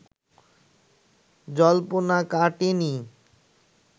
জল্পনা কাটেনি